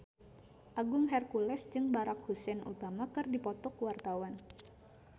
Agung Hercules jeung Barack Hussein Obama keur dipoto ku wartawan